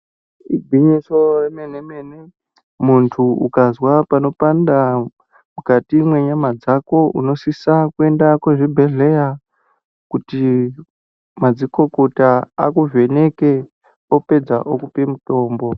Igwinyiso remenemene, muntu ukazwa panopanda mukati menyama dzako unosisa kuenda kuzvibhedleya kuti madzikokota akuvheneke opedza okupe mutombo.